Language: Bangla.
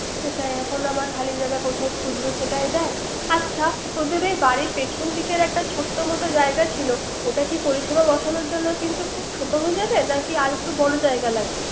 হুম তাই এখন আবার খালি জায়গা কোথায় খুজবে। আচ্ছা তোদের এই বাড়ির পিছনের দিকে একটা ছোট্ট মত জায়গা ছিল ওটা কি পরিসেবা বসানো জন্য কিন্তু কি খুব ছোট হয়ে যাবে। নাকি আর একটু বর জায়গা লাগবে